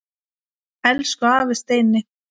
Elsku afi Steini.